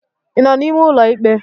ị nọ n'ime ụlọ ikpe?